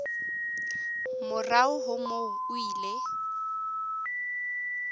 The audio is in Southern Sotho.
morao ho moo o ile